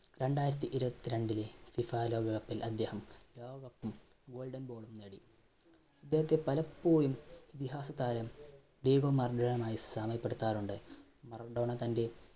രണ്ടായിരത്തി ഇരുപത്തിരണ്ടിലെ FIFA ലോകകപ്പിൽ അദ്ദേഹം ലോകകപ്പും golden ball ഉം നേടി. അദ്ദേഹത്തെ പലപ്പോഴും ഇതിഹാസ താരം diego maradona യുമായി സാമ്യപ്പെടുത്താറുണ്ട് maradona തന്റെ